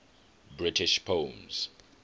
british poems